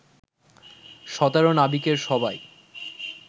১৭ নাবিকের সবাই